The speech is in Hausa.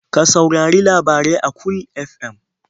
Ka saurari labarai a Cool FM?